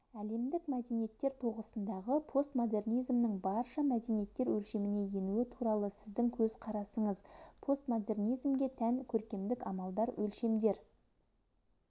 әлемдік мәдениеттер тоғысындағы постмодернизмнің барша мәдениеттер өлшеміне енуі туралы сіздің көзқарасыңыз постмодернизмге тән көркемдік амалдар өлшемдер